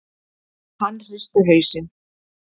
Hann hristi hausinn.